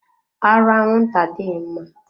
Arụ anwụnta adịghị mma.